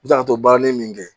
U bɛ kila ka to baaralen min kɛ